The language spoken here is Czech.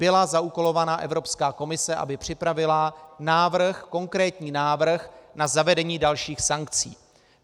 Byla zaúkolována Evropská komise, aby připravila návrh, konkrétní návrh na zavedení dalších sankcí.